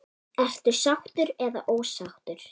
Ertu sáttur eða ósáttur?